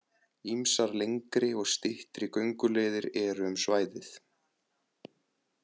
Ýmsar lengri og styttri gönguleiðir eru um svæðið.